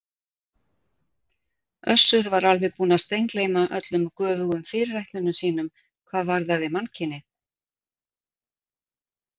Össur var alveg búinn að steingleyma öllum göfugum fyrirætlunum sínum hvað varðaði mannkynið.